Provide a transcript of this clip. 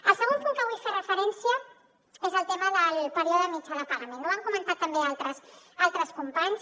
el segon punt a què vull fer referència és al tema del període mitjà de pagament ho han comentat també altres companys